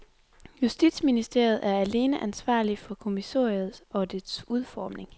Justitsministeriet er alene ansvarlig for kommissoriet og dets udformning.